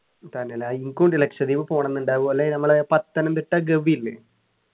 തന്നെല്ലേ എനിക്കും ഉണ്ട് ലക്ഷദ്വീപ് പോണംന്നുണ്ട് അതുപോലെ നമ്മളെ പത്തനംതിട്ട ഗവി ഇല്ലേ